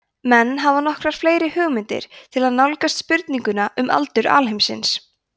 menn hafa nokkrar fleiri leiðir til að nálgast spurninguna um aldur alheimsins